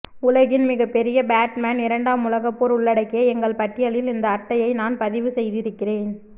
உலகின் மிகப்பெரிய பேட்மேன் இரண்டாம் உலகப் போர் உள்ளடக்கிய எங்கள் பட்டியலில் இந்த அட்டையை நான் பதிவு செய்திருக்கிறேன்